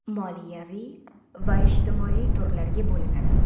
moliyaviy va ijtimoiy turlarga bo‘linadi.